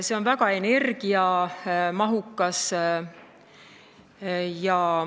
See on väga energiamahukas.